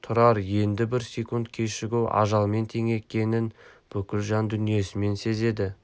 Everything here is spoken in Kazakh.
тұрар енді бір секунд кешігу ажалмен тең екенін бүкіл жан дүниесімен сезді